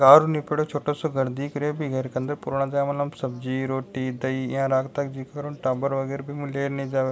गार ऊ लिपेडो छोटो सो घर दिख रहो है बि घर के --